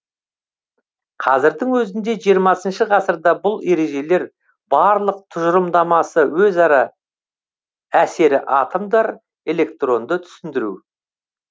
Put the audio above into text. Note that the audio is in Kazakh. қазірдің өзінде жиырмасыншы ғасырда бұл ережелер барлық тұжырымдамасы өзара әсері атомдар электронды түсіндіру